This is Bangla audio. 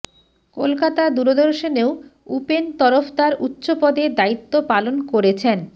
কলকাতা দূরদর্শনেও উপেন তরফদার উচ্চ পদে দায়িত্ব পালন করেছেন